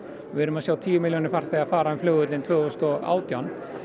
við erum að sjá tíu milljónir farþega fara um flugvöllinn tvö þúsund og átján